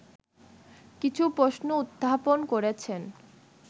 কিছু প্রশ্ন উত্থাপন করেছেন